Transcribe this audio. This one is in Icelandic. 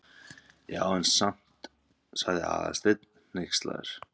Já, en samt- sagði Aðalsteinn hneykslaður.